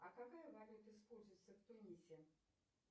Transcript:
а какая валюта используется в тунисе